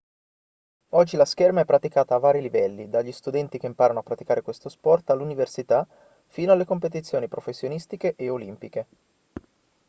oggi la scherma è praticata a vari livelli dagli studenti che imparano a praticare questo sport all'università fino alle competizioni professionistiche e olimpiche